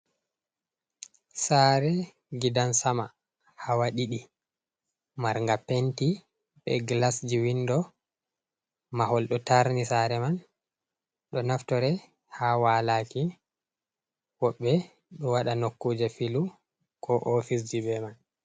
Saare gidan sama hawa ɗiɗi marga penti be gilasji windo mahol do tarni sare man ɗo naftore ha walaaki woɓɓe ɗo waɗa nokkuje filu ko ofiseji be man.